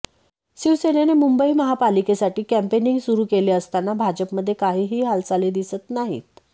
शिवसेनेने मुंबई महापालिकेसाठी कॅम्पेनिंग सुरु केले असताना भाजपमध्ये काहीही हालचाली दिसत नाहीत